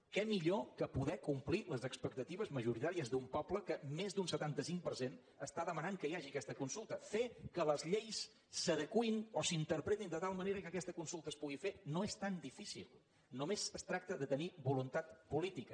què millor que poder complir les expectatives majoritàries d’un poble que en més d’un setanta cinc per cent està demanant que hi hagi aquesta consulta fer que les lleis s’adeqüin o s’interpretin de tal manera que aquesta consulta es pugui fer no és tan difícil només es tracta de tenir voluntat política